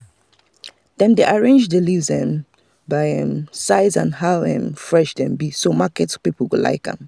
dem dey arrange the leaves um by um size and how um fresh dem be so market people go like am.